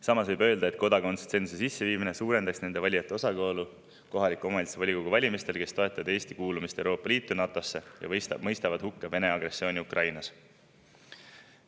Samas võib öelda, et kodakondsustsensuse sisseviimine suurendaks kohaliku omavalitsuse volikogu valimistel nende valijate osakaalu, kes taotlevad Eesti kuulumist Euroopa Liitu ja NATO‑sse ning mõistavad hukka Vene agressiooni Ukrainas.